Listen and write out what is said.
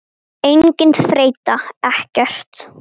Mögulega kallaður bikar Gunni?